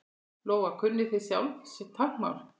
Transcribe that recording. Lóa: Kunnið þið sjálfir táknmál?